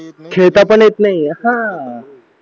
खेळता पण येत नाही